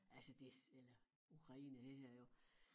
Altså det eller Ukraine det her jo